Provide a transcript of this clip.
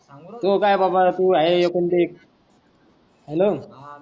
त्यो काय बाबा तु आहे एकुलते एक हॅलो